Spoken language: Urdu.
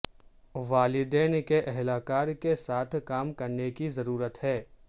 والدین کے اہلکار کے ساتھ کام کرنے کی ضرورت ہے